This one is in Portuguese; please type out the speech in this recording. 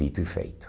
Dito e feito.